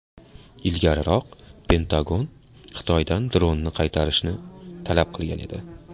Ilgariroq Pentagon Xitoydan dronni qaytarishni talab qilgan edi .